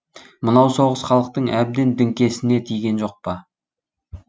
мынау соғыс халықтың әбден діңкесіне тиген жоқ па